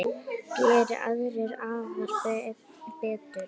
Geri aðrir afar betur.